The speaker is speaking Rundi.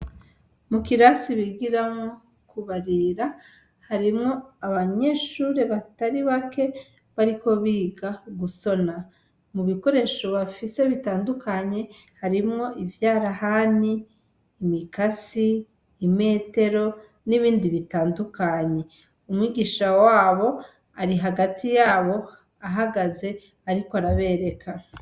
Mu kirasi bigiramwo kubarira harimwo abanyeshure batari bake bariko biga gushona mubikoresho bafise bitandukanye harimwo ivyarahani imikasi, imetero n'ibindi bitandukanye umwigisha wabo ari hagati yabo ahagaze ariko arabereka.